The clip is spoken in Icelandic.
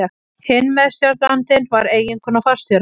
Hinn meðstjórnandinn var eiginkona forstjórans.